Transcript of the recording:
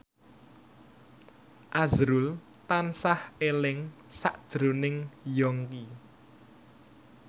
azrul tansah eling sakjroning Yongki